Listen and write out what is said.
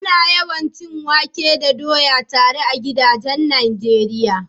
Ana yawan cin wake da doya tare a gidajen Najeriya.